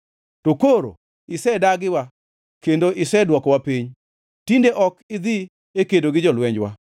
To koro isedagiwa kendo isedwokowa piny; tinde ok idhi e kedo gi jolwenjwa.